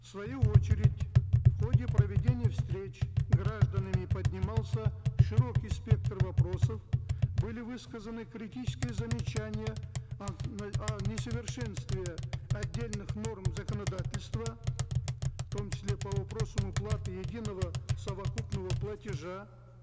в свою очередь в ходе проведения встреч гражданами поднимался широкий спектр вопросов были высказаны критические замечания о несовершенстве отдельных норм законодательства в том числе по вопросам уплаты единого совокупного платежа